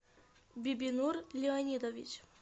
бибинур леонидович